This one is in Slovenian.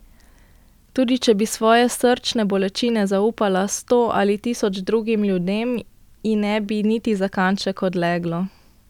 Tudi če bi svoje srčne bolečine zaupala sto ali tisoč drugim ljudem, ji ne bi niti za kanček odleglo.